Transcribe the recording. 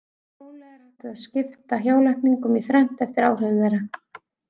Gróflega er hægt að skipta hjálækningum í þrennt eftir áhrifum þeirra.